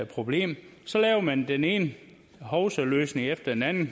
problem så laver man den ene hovsaløsning efter den anden